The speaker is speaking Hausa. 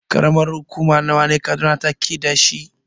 Ƙaramar hukuma nawa ne Kaduna take dashi?